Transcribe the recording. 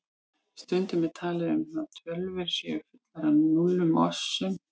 Stundum er talað um að tölvur séu fullar af núllum og ásum.